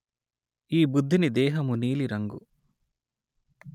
ఈ బుద్ధుని దేహము నీలి రంగు